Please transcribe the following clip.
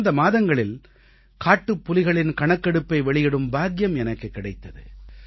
கடந்த மாதங்களில் காட்டுப்புலிகளின் கணக்கெடுப்பை வெளியிடும் பாக்கியம் எனக்குக் கிடைத்தது